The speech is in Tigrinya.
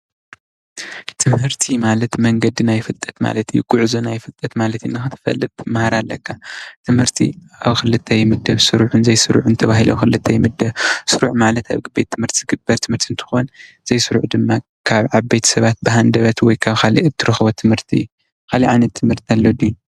ትምህርቲ ማለት ጉዕዞ ናይ ፍልጠት ማለት እዩ ትምህርቲ ስሩዕን ዘይሱሩዕን እንትኸውን ስሩዕ ማለት ኣብ ብት ትምህርቲ ዝርከብ እንትኸውን ዘይስሩዕ ማለት ድማ ካብ ቤተሰብ ዝርከብ እዩ ።